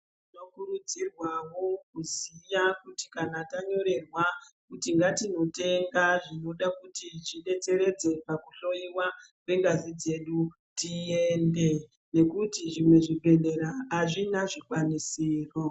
Tinokurudzirwawo kuziya kuti kana tanyorerwa kuti ngatinotenga zvinodakuti zvibetseredze pakuhloiwa kwangazi dzedu tiyende. Nekuti zvimwe zvibhedhlera hazvina zvikwanisiro